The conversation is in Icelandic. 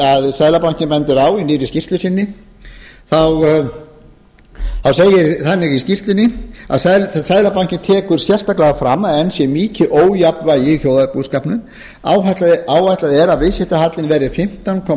seðlabankinn bendir á í nýrri skýrslu sinni þá segir þannig í skýrslunni seðlabankinn tekur sérstaklega fram að enn sé mikið ójafnvægi í þjóðarbúskapnum áætlað er að viðskiptahallinn verði fimmtán komma